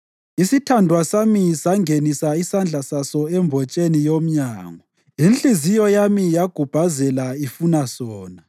Isithandwa sami sangenisa isandla saso embotsheni yomnyango; inhliziyo yami yagubhazela ifuna sona.